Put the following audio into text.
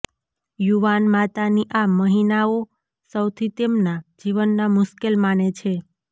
યુવાન માતાની આ મહિનાઓ સૌથી તેમના જીવનના મુશ્કેલ માને છે